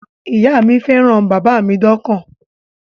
Ìyá mi fẹ́ràn bàbá mi dọ́kàn